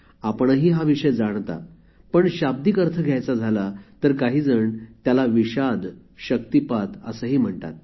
आपणही हा विषय जाणता पण शाब्दिक अर्थ घ्यायचा झाला तर काही जण त्याला विषाद शक्तीपात असेही म्हणतात